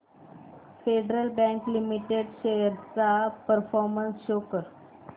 federal bank limited shares चा performance show कर